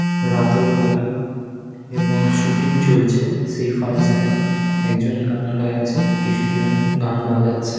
রাতের বেলা এবং শুটিং চলছে সেই ফাংশন - এ একজন গান গাইছে । গান বাজাচ্ছে ।